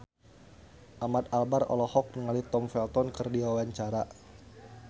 Ahmad Albar olohok ningali Tom Felton keur diwawancara